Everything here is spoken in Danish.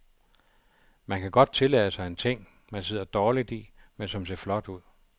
Man kan godt tillade sig en ting, man sidder dårligt i, men som ser flot ud.